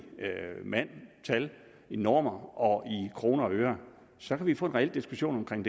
mand tal normer og kroner og øre så kan vi få en reel diskussion om